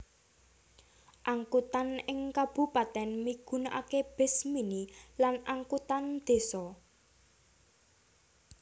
Angkutan ing kabupatèn migunaaké bis mini lan angkutan désa